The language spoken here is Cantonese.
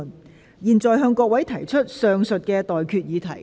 我現在向各位提出上述待決議題。